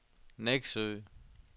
Neksø